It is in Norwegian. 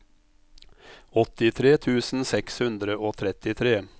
åttitre tusen seks hundre og trettitre